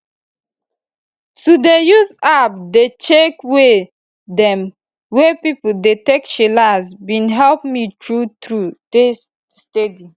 to dey use app dey check way dem wey pipo dey take chillax bin help me true true dey steady